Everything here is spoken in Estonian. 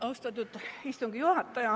Austatud istungi juhataja!